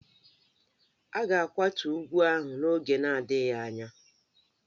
A ga-akwatu ugwu ahụ n'oge na-adịghị anya.